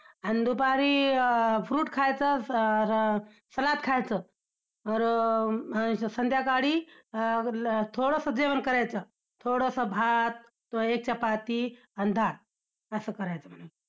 आणि दुपारी अं fruit खायचं सर~ सलाड खायचं. तर~ संध्याकाळी अं थोडसं जेवण करायचं, थोडसं भात, एक चपाती आणि डाळ असं करायचं म्हणे.